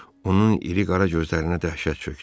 Onun iri qara gözlərinə dəhşət çökdü.